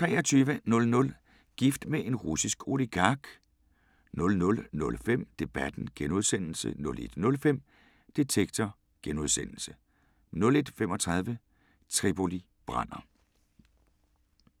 23:00: Gift med en russisk oligark 00:05: Debatten * 01:05: Detektor * 01:35: Tripoli brænder!